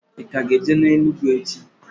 I ka ga-eje n'elu ugwu echi?